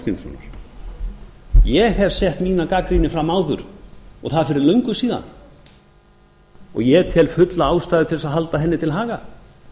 ásgrímssonar ég hef sett mína gagnrýni fram áður og það fyrir löngu síðan og ég tel fulla ástæðu til að halda henni til haga